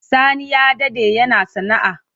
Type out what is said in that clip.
Sani ya dade yana sana'a.